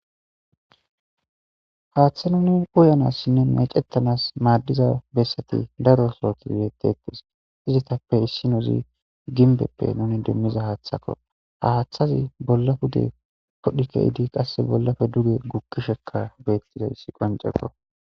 Haththa nuni uyanasinne meccetanas madiza bessati daro sohotti detes,izettappe issoy gimbbepp nuni demiza haththakko,ha haththazi bolla pude keyidda,bollappe dugge wodhdhidiayss qonccidese.